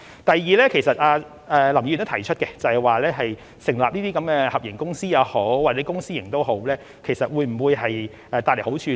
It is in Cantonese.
第二，林議員也提出成立合營公司或以公私營模式進行，這會否帶來好處呢？